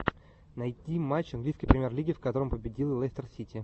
найди матч английской премьер лиги в котором победил лестер сити